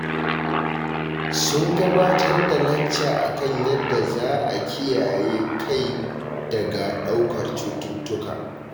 Sun gabatar da lacca a kan yadda za a kiyaye kai daga ɗaukar cututtuka